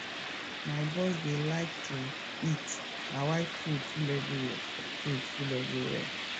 my boss dey like to eat na why food full everywhere food full everywhere